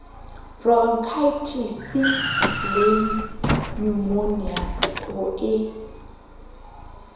boronkhaetisi le nyumonia ho e